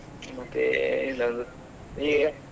ಮತ್ತೇನಿಲ್ಲ .